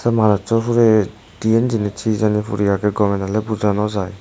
manujso hure diyen jinis he jani puri aage gome dale buja naw jai.